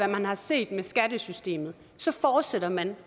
man har set med skattesystemet fortsætter man